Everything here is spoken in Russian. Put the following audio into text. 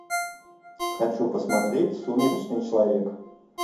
хочу посмотреть сумеречный человек